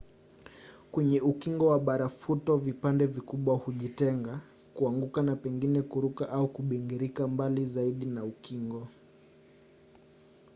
kwenye ukingo wa barafuto vipande vikubwa hujitenga kuanguka na pengine kuruka au kubingirika mbali zaidi na ukingo